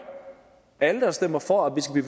alle der stemmer for at vi skal